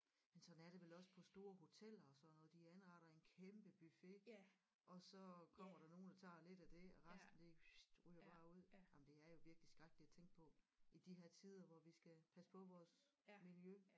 Men sådan er det vel også på store hoteller og sådan noget de anretter en kæmpe buffet og så kommer der nogen og tager lidt af det og resten det ryger bare ud jamen det er jo virkelig skrækkeligt at tænke på i de her tider hvor vi skal passe på vores miljø